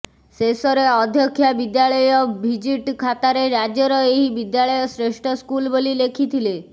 ଶେଷରେ ଅଧ୍ୟକ୍ଷା ବିଦ୍ୟାଳୟ ଭିଜିଟ ଖାତାରେ ରାଜ୍ୟର ଏହି ବିଦ୍ୟାଳୟ ଶ୍ରେଷ୍ଠ ସ୍କୁଲ ବୋଲି ଲେଖିଥିଲେ